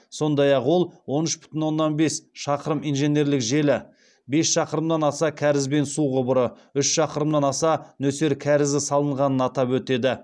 сондай ақ ол он үш бүтін оннан бес шақырым инженерлік желі бес шақырымнан аса кәріз бен су құбыры үш шақырымнан аса нөсер кәрізі салынғанын атап өтеді